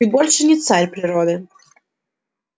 ты больше не царь природы